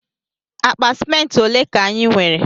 Akpa ciment ọle ka anyi nwere?